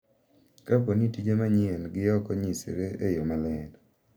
Kapo ni tije manyien gi ok onyisre e yo maler,